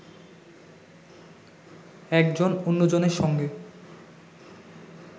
একজন অন্যজনের সঙ্গে